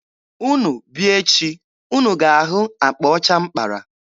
Unu bịa echi, unu ga-ahụ akpa ọcha m kpara.